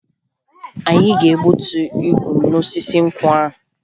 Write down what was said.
Anyị ga-egbuta igu n'osisi nkwụ ahụ